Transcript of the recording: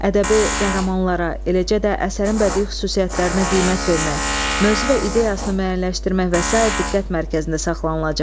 Ədəbi qəhrəmanlara, eləcə də əsərin bədii xüsusiyyətlərinə qiymət vermək, mövzu və ideyasını müəyyənləşdirmək və sair diqqət mərkəzində saxlanılacaq.